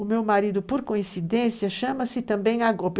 O meu marido, por coincidência, chama-se também Agope.